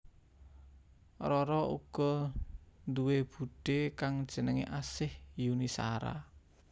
Rara uga duwé budhé kang jenengé Asih Yuni Shara